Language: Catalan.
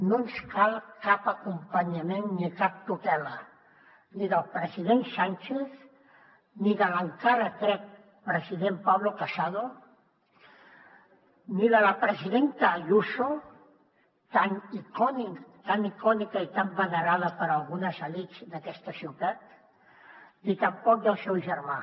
no ens cal cap acompanyament ni cap tutela ni del president sánchez ni de l’encara crec president pablo casado ni de la presidenta ayuso tan icònica i tan venerada per algunes elits d’aquesta ciutat ni tampoc del seu germà